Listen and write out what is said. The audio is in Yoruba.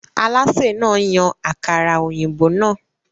Alásè náà yan àkàrà-òyìnbó náà.